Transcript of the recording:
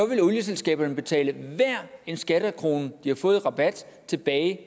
vil olieselskaberne betale hver en skattekrone de har fået i rabat tilbage